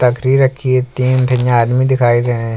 तकरी रखी है तीन-तीन ये आदमी दिखाई दे रहे हैं।